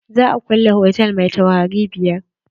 Za a kulle hotal mai taurari biyar.